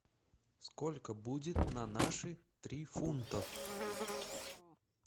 сколько будет на наши три фунтов